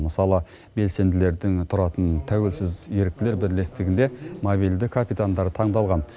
мысалы белсенділердің тұратын тәуелсіз еріктілер бірлестігінде мобильді капитандар таңдалған